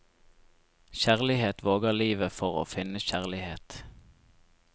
Kjærlighet våger livet for å finne kjærlighet.